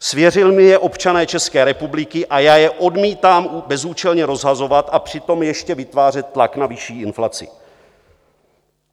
Svěřili mi je občané České republiky a já je odmítám bezúčelně rozhazovat a přitom ještě vytvářet tlak na vyšší inflaci.